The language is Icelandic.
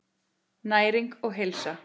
Næring og heilsa.